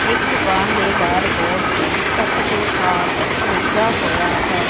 ਇੱਕ ਦੁਕਾਨ ਦੇ ਬਾਹਰ ਬੋਰਡ ਤੇ ਸਤਿਗੁਰ ਆਰਟਸ ਲਿਖਿਆ ਹੋਇਆ ਹੈ।